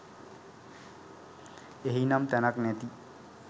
එහි නම් තැනක් නැති.